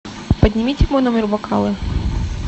поднимите в мой номер бокалы